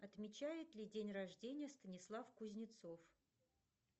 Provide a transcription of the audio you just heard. отмечает ли день рождения станислав кузнецов